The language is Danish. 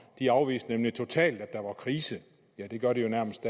de afviste nemlig totalt at der var krise ja det gør de jo nærmest